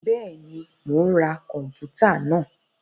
Bẹẹni, Mó n rá kọnputa náà